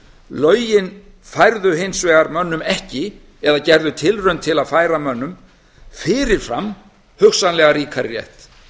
lögin færðu hins vegar mönnum ekki eða gerðu tilraun til að færa mönnum fyrir fram hugsanlega ríkari rétt